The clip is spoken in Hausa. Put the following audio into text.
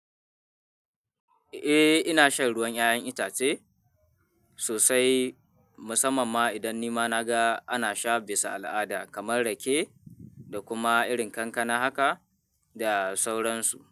Eh ina shan ruwan 'ya'yan itace sosai, musamman ma idan nima naga ana sha bisa al'ada kamar rake da kuma irin kankana haka da sauransu.